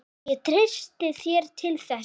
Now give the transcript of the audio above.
Ég treysti þér til þess.